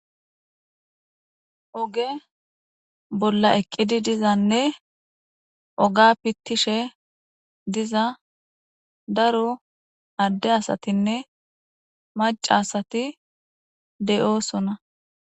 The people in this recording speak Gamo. Oge bolla eqqidi dizanne oga pittishe diza daro adde asatinne mac asati deyoosona.